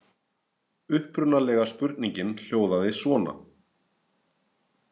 Uppprunalega spurningin hljóðaði svona